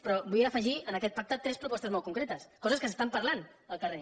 però vull afegir en aquest pacte tres propostes molt concretes coses que s’estan parlant al carrer